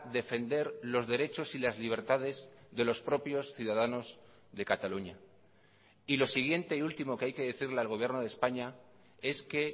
defender los derechos y las libertades de los propios ciudadanos de cataluña y lo siguiente y último que hay que decirle al gobierno de españa es que